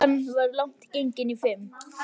Klukkan var langt gengin í fimm.